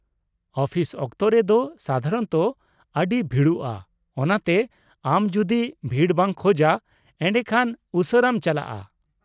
ᱟᱹᱯᱷᱤᱥ ᱚᱠᱛᱚᱨᱮ ᱫᱚ ᱥᱟᱫᱷᱟᱨᱚᱱᱚᱛᱚ ᱟᱹᱰᱤ ᱵᱷᱤᱲᱚᱜᱼᱟ, ᱚᱱᱟᱛᱮ ᱟᱢ ᱡᱩᱫᱤ ᱵᱷᱤᱲ ᱵᱟᱝ ᱠᱷᱚᱡᱟ, ᱮᱰᱮᱠᱷᱟᱱ ᱩᱥᱟᱹᱨᱟᱢ ᱪᱟᱞᱟᱜᱼᱟ ᱾